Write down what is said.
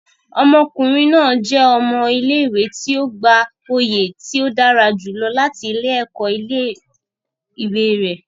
Ọmọkunrin naa jẹ ọmọ ile-iwe ti o gba oye ti o dara julọ lati ẹkọ ile-iwe re